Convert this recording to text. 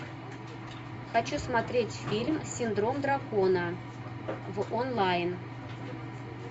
хочу смотреть фильм синдром дракона в онлайн